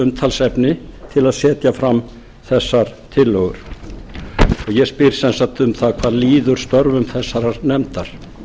umtalsefni til að setja fram þessar tillögur og ég spyr sem sagt um það hvað líður störfum þessarar nefndar